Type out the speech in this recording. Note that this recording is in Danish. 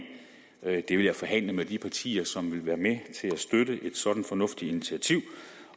vil jeg forhandle om med de partier som vil være med til at støtte et sådant fornuftigt initiativ